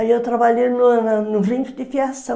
Aí eu trabalhei no no rincho de fiação.